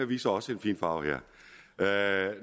viser også en fin farve her